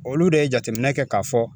Olu de ye jateminɛ kɛ k'a fɔ